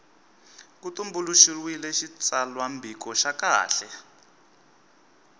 ku tumbuluxiwile xitsalwambiko xa kahle